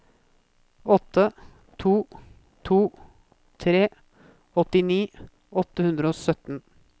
åtte to to tre åttini åtte hundre og sytten